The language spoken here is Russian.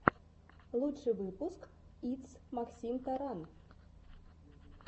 лучший выпуск итс максимтаран